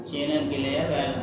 Tiɲɛna gɛlɛya b'a la